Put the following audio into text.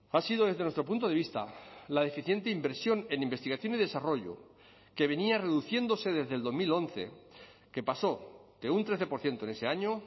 ha sido desde nuestro punto de vista la deficiente inversión en investigación y desarrollo que venía reduciéndose desde el dos mil once que pasó de un trece por ciento en ese año